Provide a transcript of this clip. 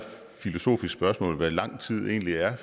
filosofisk spørgsmål hvad lang tid egentlig er